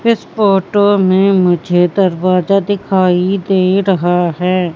इस फोटो में मुझे दरवाजा दिखाई दे रहा हैं।